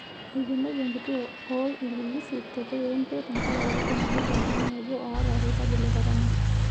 Eikeneki enkituo oo ilpilisi te Kawempe tenkaraki enotoki oltungani obo oota olkirobi le korona.